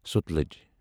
Sutlej